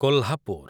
Kolhapur